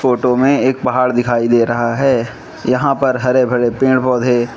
photo मे एक पहाड़ दिखाई दे रहा है यहां पर हरे भरे पेड़ पौधे --